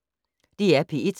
DR P1